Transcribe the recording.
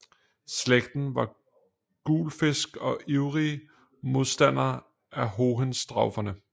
Slægten var guelfisk og ivrige modstandere af Hohenstauferne